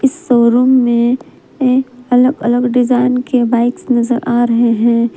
Showroom में एक अलग अलग डिजाइन के बाइक्स नजर आ रहे हैं।